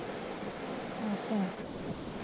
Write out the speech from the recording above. ਅੱਛਾ